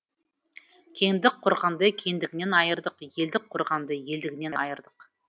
кеңдік құрғанды кеңдігінен айырдық елдік құрғанды елдігінен айырдық